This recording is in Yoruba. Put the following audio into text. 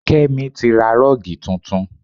Kémi tí ra rọ́ọ̀gì tuntun